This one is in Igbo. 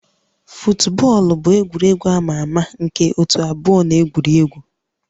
Futbọọlụ bụ egwuregwu a ma ama na ótú abụọ na-egwuri egwu